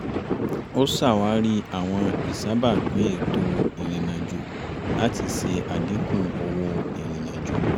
ó ṣàwárí àwọn ìṣàbápìn ètò ìrìnàjò láti ṣe àdínkù owó ìrìnàjò